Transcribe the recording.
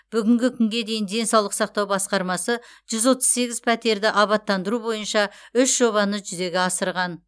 бүгінгі күнге дейін денсаулық сақтау басқармасы жүз отыз сегіз пәтерді абаттандыру бойынша үш жобаны жүзеге асырған